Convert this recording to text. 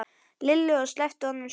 Lillu og sleppti honum svo small í.